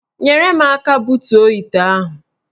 Nyere m aka butuo ite ahụ